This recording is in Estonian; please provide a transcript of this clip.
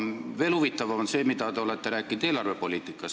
Veel huvitavam on aga see, mida te olete rääkinud eelarvepoliitikast.